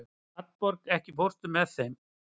Hallborg, ekki fórstu með þeim?